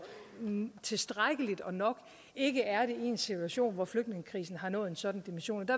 tilstrækkeligt og nok ikke er det i en situation hvor flygtningekrisen har nået en sådan dimension det